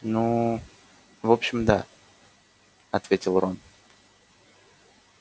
ну в общем да ответил рон